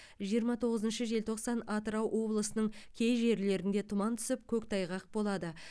жиырма тоғызыншы желтоқсан атырау облысының кей жерлерінде тұман түсіп көктайғақ болады